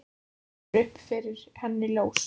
Þá rennur upp fyrir henni ljós.